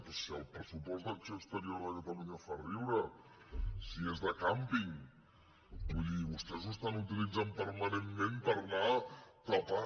però si el pressupost d’acció exterior de catalunya fa riure si és de càmping vull dir vostès ho utilitzen permanentment per anar tapant